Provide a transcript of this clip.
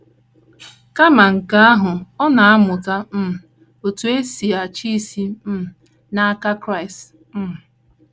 Kama nke ahụ, ọ na - amụta um otú e si achị isi um n’aka Kraịst um.